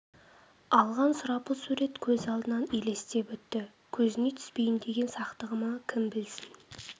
алған сұрапыл сурет көз алдынан елестеп өтті көзіне түспейін деген сақтығы ма кім білсін